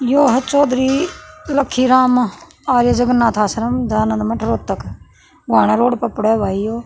यो ह चौधरी रखीराम आर्य जगननाथ आश्रम दयानंद मठ रोहतक घुवाणा रोड प पड़ह भाई यो।